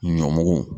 Ɲɔmugu